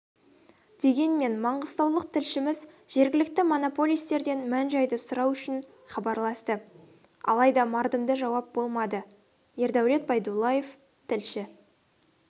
дегенмен маңғыстаулық тілшіміз жергілікті монополистерден мән-жайды сұрау үшін хабарласты алайда мардымды жауап болмады ердәулет байдуллаев тілші